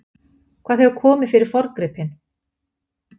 Hvað hefur komið fyrir forngripinn?